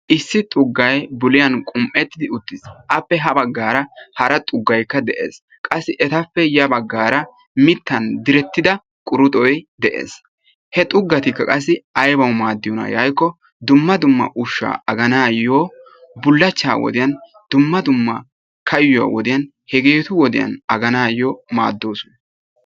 Issi xugay bulliyaan qum"ettidi uttiis. appe ha baggaara hara xuggaykka de'ees. Qassi etappe ya baggara mittan direttida quruxxoy de'ees. He xuggatikka qassi aybbawu maadiyoona yaagikko dumma dumma ushsha aganayo bullachcha wodiyaan dumma dumma kaayuwan hegetu wodiyaan aganayo maaddoosona.